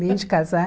Nem de casar.